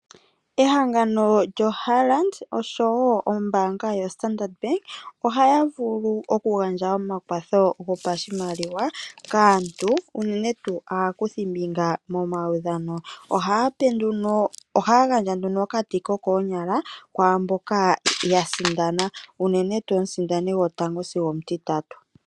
Ehangano lyoHollard osho wo ombaanga yo-Standard Bank, oha yavulu okugandja omakwatho gopashimaliwa kaantu, unene tuu aakuthi mbiga momaudhano. Oha ya gandja nduno okati koonyala kwaamboka yasindana, uunene tuu komusindasi gwotango sigo omutitatu.